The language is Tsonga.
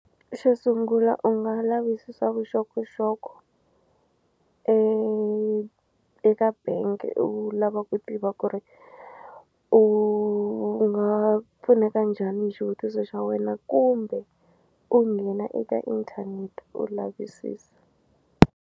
Xo sungula u nga lavisisa vuxokoxoko e eka bank u lava ku tiva ku ri u nga pfuneka njhani hi xivutiso xa wena kumbe u nghena eka inthanete u lavisisa.